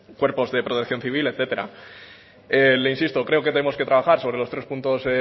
cuerpos de protección civil etcétera le insisto creo que tenemos que trabajar sobre los tres puntos